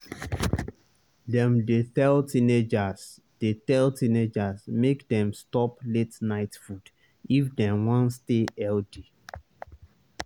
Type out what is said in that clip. dem dey tell teenagers dey tell teenagers make dem stop late-night food if dem wan stay healthy.